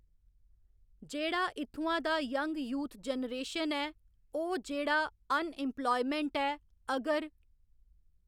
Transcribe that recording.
जेह्ड़ा इत्थुआं दा यंग यूथ जनरेशन ऐ ओह् जेह्ड़ा अन इम्पलायमेंट ऐ अगर